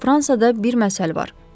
Fransada bir məsəl var.